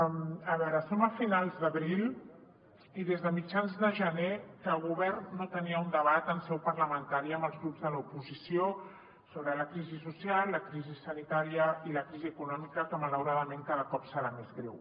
a veure som a finals d’abril i des de mitjans de gener que el govern no tenia un debat en seu parlamentària amb els grups de l’oposició sobre la crisi social la crisi sanitària i la crisi econòmica que malauradament cada cop serà més greu